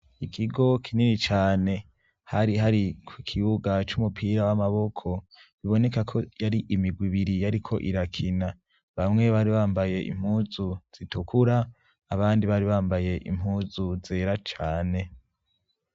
Ikigo kinini cane, hari hari ku kibuga c'umupira w'amaboko biboneka ko yari imigwi ibiri yariko irakina, bamwe bari bambaye impuzu zitukura abandi bari bambaye impuzu zera cane.